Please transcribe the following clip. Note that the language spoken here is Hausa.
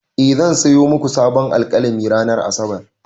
E, zan sayo muku sabon alƙalami ranar Asabar.